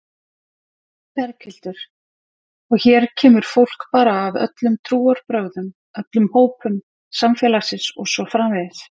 Berghildur: Og hér kemur fólk bara af öllum trúarbrögðum, öllum hópum samfélagsins og svo framvegis?